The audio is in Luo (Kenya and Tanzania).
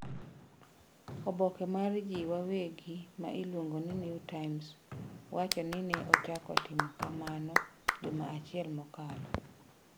Oboke mar ji wawegi ma iluongo ni New Times wacho ni ne ochako timo kamano juma achiel mokalo.